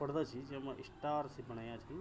पड़दा छी जेमा स्टार सी बणाया छी।